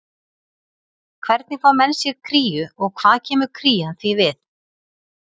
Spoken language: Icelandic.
Hvernig fá menn sér kríu og hvað kemur krían því við?